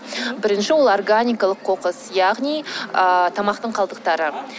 бірінші ол органикалық қоқыс яғни ыыы тамақтың қалдықтары